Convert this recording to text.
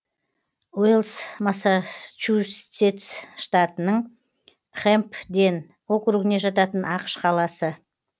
уэльс массачусетс штатының хэмпден округіне жататын ақш қаласы